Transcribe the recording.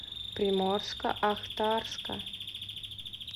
приморско ахтарска